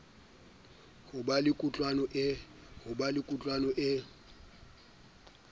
ho ba le kutlwano e